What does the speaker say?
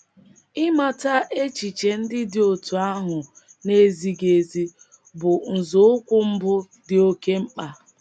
Ịmata echiche ndị dị otú ahụ na - ezighị ezi bụ nzọụkwụ mbụ dị oké mkpa.